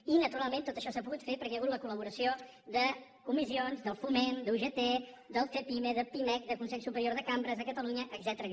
i naturalment tot això s’ha pogut fer perquè hi ha hagut la col·laboració de comissions del foment d’ugt de cepyme de pimec del consell superior de cambres de catalunya etcètera